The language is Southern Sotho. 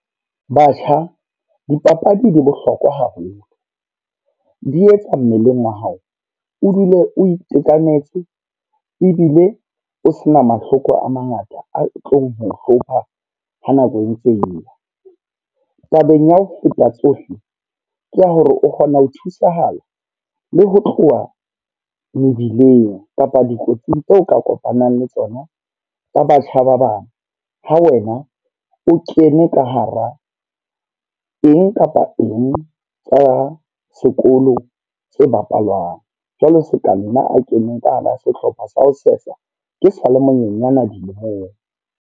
Batjha, dipapadi di bohlokwa haholo. Di etsa mmeleng wa hao, o dule o itekanetse. Ebile o se na mahloko a mangata a tlong ho hlopha ha nako e ntse e ya. Tabeng ya ho feta tsohle, ke ya hore o kgona ho thusahala le ho tloha mebileng kapa dikotsing tseo o ka kopanang le tsona tsa batjha ba bang. Ha wena o kene ka hara a eng kapa eng tsa sekolo se bapalang. Jwale se ka nna a keneng ka hara sehlopha sa ho sesa, ke sa le monyenyana dilemong.